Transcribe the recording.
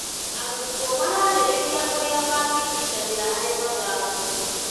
Arutwo mararĩrĩria ũrĩa mangĩnyitanĩra harĩ mathako.